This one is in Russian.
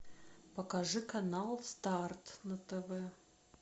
покажи канал старт на тв